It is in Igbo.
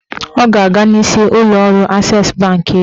Ọ ga-aga n'isi ụlọọrụ Ases bankị echi